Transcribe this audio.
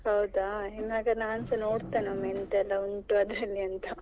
ಹೌದಾ! ಇನ್ನು ಅದನ್ನು ನಾನ್ಸ ನೋಡ್ತೇನೆ ಎಂಥ ಎಲ್ಲಾ ಉಂಟು ಅದರಲ್ಲಿ ಅಂತ.